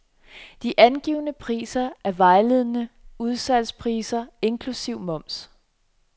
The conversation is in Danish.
De angivne priser er vejledende udsalgspriser inklusive moms.